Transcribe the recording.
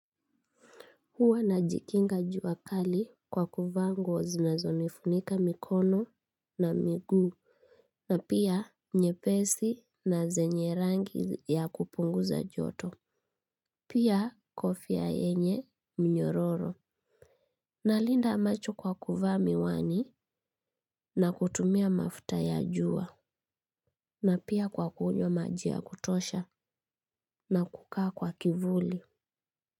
Huwa najikinga jua kali kwa kuvaa nguo zinazonifunika mikono na miguu. Na pia nyepesi na zenye rangi ya kupunguza joto. Na pia kofia yenye mnyororo nalinda macho kwa kuvaa miwani na kutumia mafuta ya jua. Na pia kwa kunywa maji ya kutosha na kukaa kwa kivuli.